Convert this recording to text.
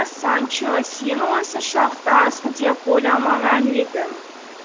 санчо сені осыншалықты азғын деп ойламаған едім